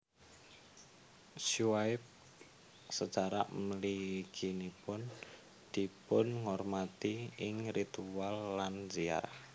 Syuaib secara mliginipun dipunhormati ing ritual lan ziarah